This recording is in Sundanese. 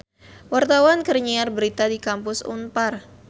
Wartawan keur nyiar berita di Kampus Unpar